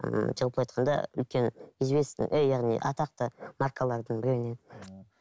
ііі жалпылай айтқанда үлкен известный яғни атақты маркалардың біреуінен ыыы